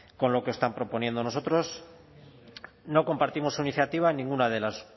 con lo que están proponiendo nosotros no compartimos su iniciativa en ninguna de las